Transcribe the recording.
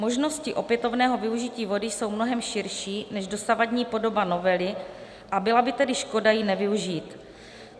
Možnosti opětovného využití vody jsou mnohem širší než dosavadní podoba novely a byla by tedy škoda je nevyužít.